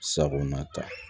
Sagona ta